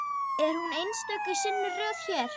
Er hún einstök í sinni röð hér?